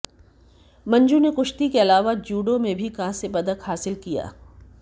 मंजू ने कुश्ती के अलावा जूडो में भी कांस्य पदक हासिल किया